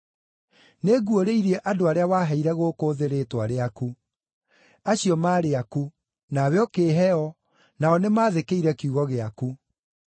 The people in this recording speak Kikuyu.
“Nĩnguũrĩirie andũ arĩa waheire gũkũ thĩ rĩĩtwa rĩaku. Acio maarĩ aku; nawe ũkĩĩhe o, nao nĩmathĩkĩire kiugo gĩaku.